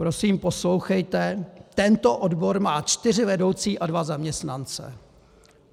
- Prosím poslouchejte: Tento odbor má čtyři vedoucí a dva zaměstnance.